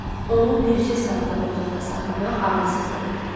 Onu bircə saat da bu otaqda saxlamaq ağılsızlıq idi.